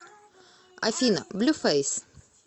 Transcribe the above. афина блюфейс